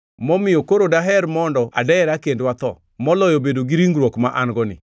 momiyo koro daher mondo adera kendo atho, moloyo bedo gi ringruok ma an-goni.